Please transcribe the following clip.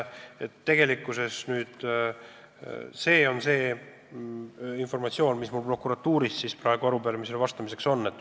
See on kogu informatsioon, mis ma prokuratuurist arupärimisele vastamiseks sain.